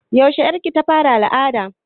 Yaushe ƴar ki ta fara al'ada?